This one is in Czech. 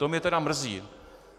To mě teda mrzí.